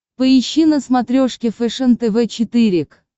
поищи на смотрешке фэшен тв четыре к